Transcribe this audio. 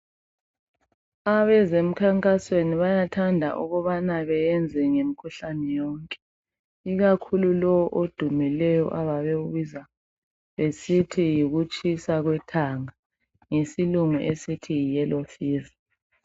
Abezemkhankasweni bayathanda ukubana beyenze ngemikhuhlane yonke ikakhulu lo odumileyo ababewubiza besithi yikutshisa kwekhanda ngesilungu esithi yiyellow fever.